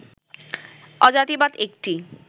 অজাতিবাদ একটি